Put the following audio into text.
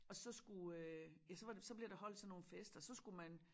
Og så skulle øh ja så var så blev der holdt sådan nogen fester så skulle man